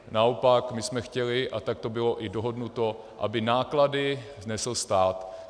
Naopak my jsme chtěli, a tak to bylo i dohodnuto, aby náklady nesl stát.